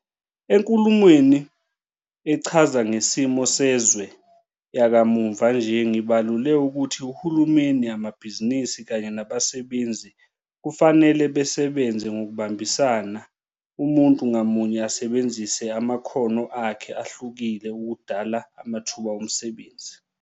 ENkulumweni Echaza Ngesimo Sezwe yakamuva nje, ngibalule ukuthi uhulumeni, amabhizinisi kanye nabasebenzi kufanele basebenze ngokubambisana, umuntu ngamunye asebenzise amakhono akhe ahlukile, ukudala amathuba omsebenzi.